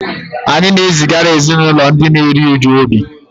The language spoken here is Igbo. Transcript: Anyị na-ezigara ezinụlọ ndị na-eru uju obi